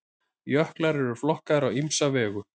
jöklar eru flokkaðir á ýmsa vegu